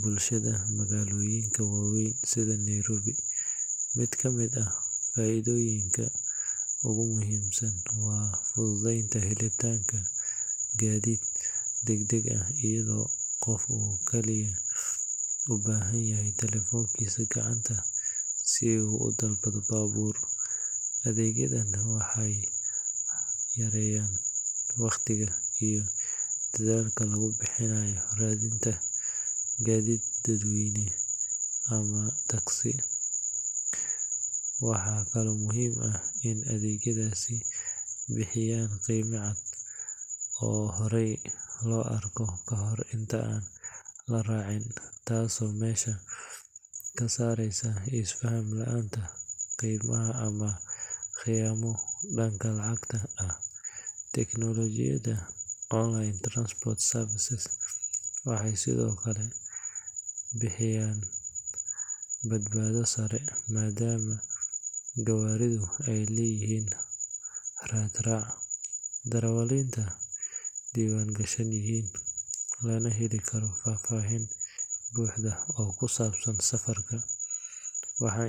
bulshada magaalooyinka waaweyn sida Nairobi. Mid ka mid ah faa’iidooyinka ugu muhiimsan waa fududeynta helitaanka gaadiid degdeg ah iyadoo qofka uu kaliya u baahan yahay taleefankiisa gacanta si uu u dalbado baabuur. Adeegyadan waxay yareeyaan wakhtiga iyo dadaalka lagu bixinayo raadinta gaadiid dadweyne ama taaksi. Waxaa kaloo muhiim ah in adeegyadaasi bixiyaan qiime cad oo hore loo arko kahor inta aan la raacin, taasoo meesha ka saareysa is-faham la’aanta qiimaha ama khiyaamo dhanka lacagta ah. Tiknoolajiyadan online transport services waxay sidoo kale bixiyaan badbaado sare maadaama gawaaridu ay leeyihiin raad raac, darawaliintu diiwaan gashan yihiin, lana heli karo faahfaahin buuxda oo ku saabsan safarka.